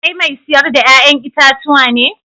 Kai mai sayar da 'ya'yan itatuwa ne?